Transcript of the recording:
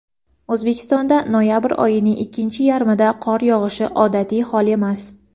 O‘zbekistonda noyabr oyining ikkinchi yarmida qor yog‘ishi odatiy hol emas.